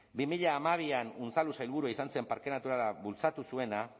bi mila hamabian unzalu sailburua izan zen parke naturala bultzatu zuena